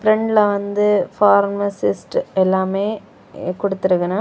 பிரண்ட்ல வந்து பார்மசிஸ்ட் எல்லாமே கொடுத்து இருக்கணும்.